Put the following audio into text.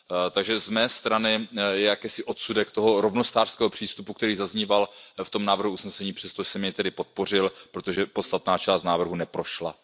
Takže z mé strany je to jakýsi odsudek toho rovnostářského přístupu, který zazníval v tom návrhu usnesení, přesto jsem jej tedy podpořil, protože podstatná část návrhu neprošla.